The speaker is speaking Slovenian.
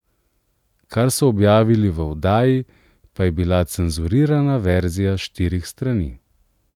Kar so objavili v oddaji, pa je bila cenzurirana verzija štirih strani.